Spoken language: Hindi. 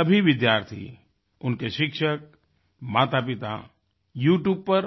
सभी विद्यार्थी उनके शिक्षक मातापिता यूट्यूब पर